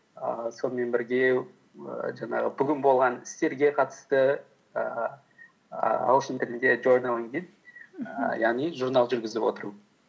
ііі сонымен бірге ііі жаңағы бүгін болған істерге қатысты ііі ағылшын тілінде жорналинг дейді ііі яғни журнал жүргізіп отыру